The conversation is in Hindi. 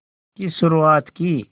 की शुरुआत की